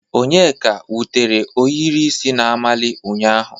Onyeka wutere ohiri isi na-amali ụnyahụ